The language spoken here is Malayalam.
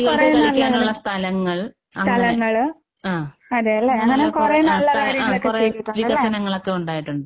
കുട്ടികൾക്ക് കളിക്കാനുള്ള സ്ഥലങ്ങൾ അങ്ങനെ ആഹ് അങ്ങനെയുള്ള കൊറേ ആഹ് സ്ഥ ആഹ് കൊറേ വികസനങ്ങളൊക്കെ ഉണ്ടായിട്ടുണ്ട്.